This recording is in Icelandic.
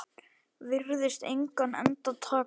Virðist engan enda taka.